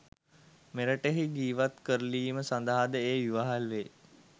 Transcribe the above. මෙරටෙහි ජීවත් කරලීම සඳහා ද එය ඉවහල් වේ